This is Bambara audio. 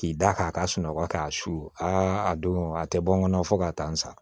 K'i da k'a ka sunɔgɔ k'a su aa a don a tɛ bɔ n kɔnɔ fo ka taa n sa